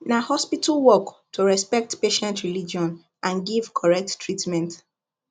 na hospital work to respect patient religion and give correct treatment